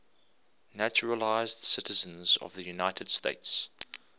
naturalized citizens of the united states